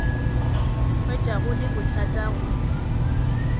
hwetša go le bothata go